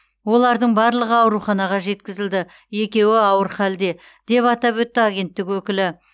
олардың барлығы ауруханаға жеткізілді екеуі ауыр халде деп атап өтті агенттік өкілі